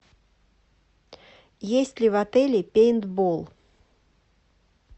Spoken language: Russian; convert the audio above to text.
есть ли в отеле пейнтбол